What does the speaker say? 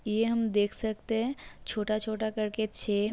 यह हम देख सकते हैं छोटा-छोटा करके छे --